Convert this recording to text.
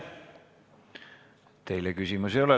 Teile küsimusi ei ole.